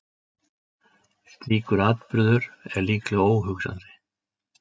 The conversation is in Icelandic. Slíkur atburður er líklega óhugsandi.